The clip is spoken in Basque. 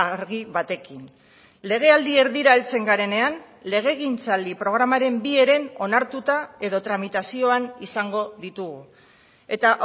argi batekin legealdi erdira heltzen garenean legegintzaldi programaren bi heren onartuta edo tramitazioan izango ditugu eta